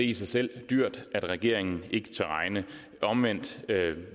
i sig selv dyrt at regeringen ikke tør regne omvendt